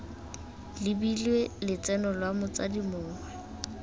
lebilwe lotseno lwa motsadi mongwe